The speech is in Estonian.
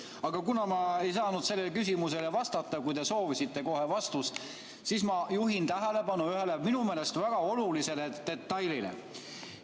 Aga kuna ma ei saanud sellele küsimusele vastata, kui te soovisite kohe vastust, siis ma juhin tähelepanu ühele minu meelest väga olulisele detailile.